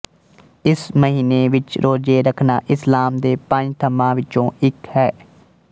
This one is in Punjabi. ਇਸ ਮਹੀਨੇ ਵਿੱਚ ਰੋਜ਼ੇ ਰੱਖਣਾ ਇਸਲਾਮ ਦੇ ਪੰਜ ਥੰਮ੍ਹਾਂ ਵਿੱਚੋਂ ਇੱਕ ਹੈ